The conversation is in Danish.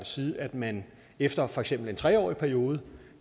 side at man efter for eksempel en tre årig periode